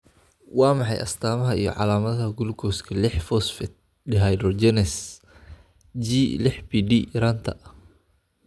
Waa maxay astamaha iyo calaamadaha gulukooska liix phosphate dehydrogenase (G lix PD) yaraanta?